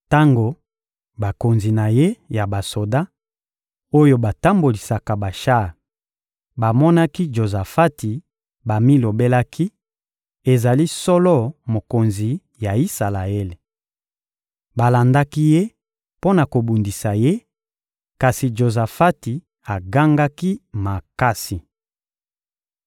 Tango bakonzi na ye ya basoda, oyo batambolisaka bashar, bamonaki Jozafati, bamilobelaki: «Ezali solo mokonzi ya Isalaele.» Balandaki ye mpo na kobundisa ye, kasi Jozafati agangaki makasi.